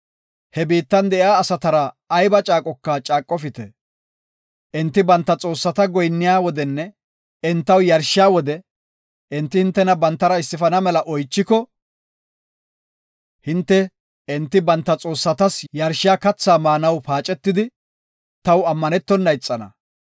He biittan de7iya asatara ayba caaqoka caaqofite. Enti banta xoossata goyinniya wodenne entaw yarshiya wode, enti hintena bantara issifana mela oychiko, hinte enti banta xoossatas yarshiya kathaa maanaw paacetidi, taw ammanetona ixana.